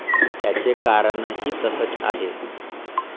त्याचे कारणही तसंच आहे.